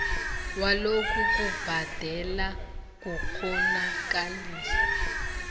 walokhu kubhadela kukghonakalisa